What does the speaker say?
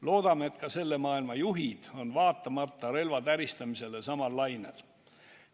Loodame, et ka selle maailma juhid on vaatamata relvade täristamisele samal lainel.